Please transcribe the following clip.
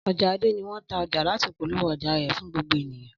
Ọja Ade ni wọn ta ọja lati polowo ọja rẹ fun gbogbo eniyan.